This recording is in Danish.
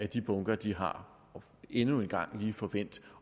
de bunker de har og endnu en gang lige få vendt